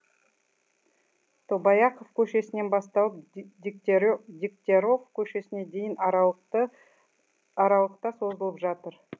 тобаяқов көшесінен басталып дегтяров көшесіне дейінгі аралықта созылып жатыр